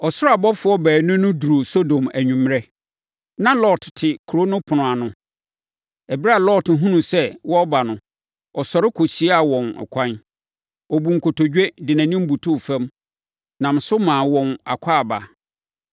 Ɔsoro abɔfoɔ baanu no duruu Sodom anwummerɛ. Na Lot te kuro no ɛpono ano. Ɛberɛ a Lot hunuu sɛ wɔreba no, ɔsɔre kɔhyiaa wɔn ɛkwan. Ɔbuu nkotodwe, de nʼanim butuu fam, nam so maa wɔn akwaaba.